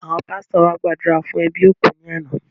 Àwọn pásítọ̀ wa gbàdúrà fún ẹbí òkú ní àná